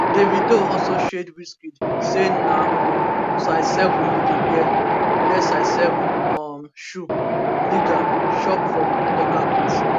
davido also shade wizkid say na um size 7 e dey wear wear size 7 um shoe nigga shop for footlocker kids